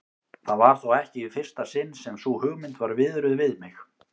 Það var þó ekki í fyrsta sinn sem sú hugmynd var viðruð við mig.